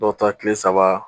Dɔw ta tile saba